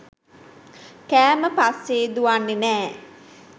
කෑම පස්සේ දුවන්නේ නෑ.